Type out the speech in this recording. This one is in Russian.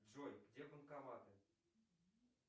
джой где банкоматы